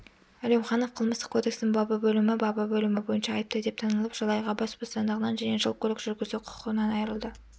әлеуіанов қылмыстық кодекстің бабы бөлімі бабы бөлімі бойынша айыпты деп танылып жыл айға бас бостандығынан және жыл көлік жүргізу құқығынан айырылды